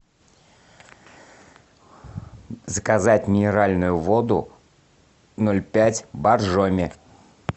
заказать минеральную воду ноль пять боржоми